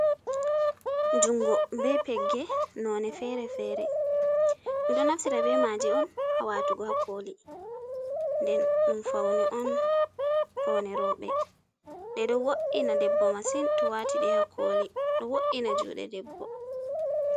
Jungo be pegge nonde fere-fere ɓe, ɗo naftira be maje on ha watugo ha koli, nden ɗum paune on, paune rooɓe, ɗe ɗo wo’ina debbo masin to o wati ɗe ha koli, ɗo wo’ina juɗe debbo.